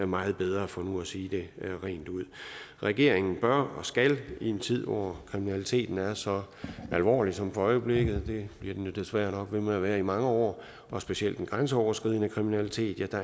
meget bedre for nu at sige det rent ud regeringen bør og skal det i en tid hvor kriminaliteten er så alvorlig som for øjeblikket og det bliver den jo desværre nok ved med at være i mange år specielt den grænseoverskridende kriminalitet